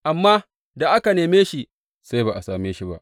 Amma da aka neme shi sai ba a same shi ba.